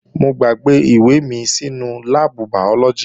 Mo gbàgbé ìwé mi sínú láàbù bàyọ́lọ́gì